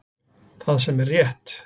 Það sem er rétt